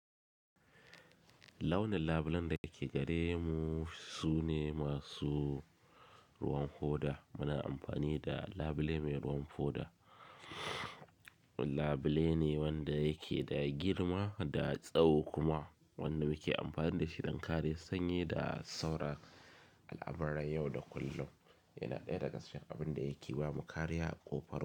Launin labulen da ke gare mu sune masu ruwan hoda. Muna amfani da labile mai ruwan hoda. Labule ne wanda yake da girma da tsawo kuma wanda muke amfani da shi don kare sanye da sauran al'amuran yau da kullum. Yana ɗaya daga cikin abin da yake ba mu kariya ƙofar mu.